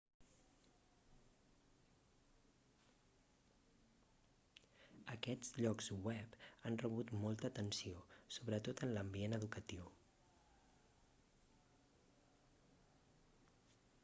aquests llocs web han rebut molta atenció sobretot en l'ambient educatiu